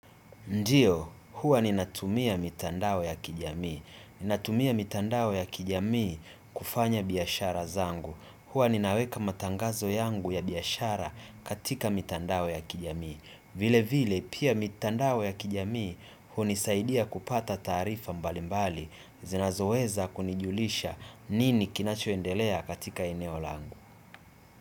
Ndiyo, huwa ninatumia mitandao ya kijamii. Ninatumia mitandawe ya kijami kufanya biyashara zangu. Huwa ninaweka matangazo yangu ya biashara katika mitandao ya kijamii. Vile vile, pia mitandawe ya kijami hunisaidia kupata taarifa mbalimbali zinazoweza kunijulisha nini kinachoendelea katika eneo langu.